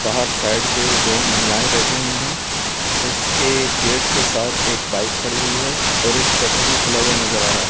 बाहर साइड पे दो महिलाएं बैठी हुई हैं इसके गेट के साथ एक बाइक खड़ी हुई है और एक शटर भी खुला हुआ नज़र आ रहा है।